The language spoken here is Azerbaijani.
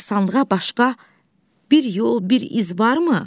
Qəbristanlığa başqa bir yol, bir iz varmı?